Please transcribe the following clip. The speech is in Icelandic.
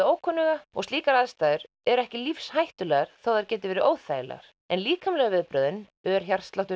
ókunnuga og slíkar aðstæður eru ekki lífshættulegar þótt þær geti verið óþægilegar en líkamlegu viðbrögðin ör